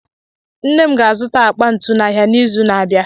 Nne m ga-azụta akpa ntu n'ahịa n'izu na-abịa.